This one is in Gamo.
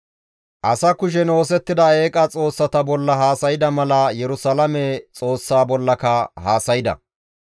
Asaa kushen oosettida eeqa xoossata bolla haasayda mala Yerusalaame Xoossaa bollaka haasayda.